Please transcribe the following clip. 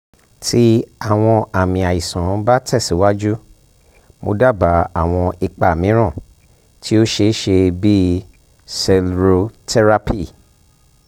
ti awọn aami aisan ba tẹsiwaju mo daba awọn ipo miiran ti o ṣeeṣe bii sclerotherapy